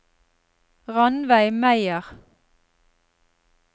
Ranveig Meyer